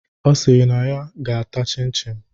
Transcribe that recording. Ọ sịrị na ya ga-ata chin chin